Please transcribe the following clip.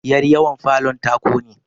yaryawon ta ƙone